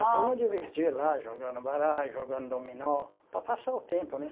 A turma divertia lá, jogando baralho, jogando dominó, para passar o tempo, né?